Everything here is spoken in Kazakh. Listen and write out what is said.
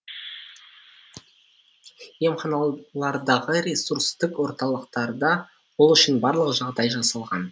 емханалардағы ресурстық орталықтарда ол үшін барлық жағдай жасалған